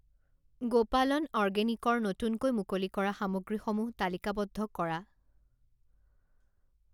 গোপালন অৰ্গেনিক ৰ নতুনকৈ মুকলি কৰা সামগ্ৰীসমূহ তালিকাবদ্ধ কৰা।